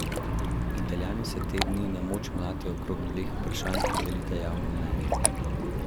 Italijani se te dni na moč mlatijo okrog dveh vprašanj, ki delita javno mnenje.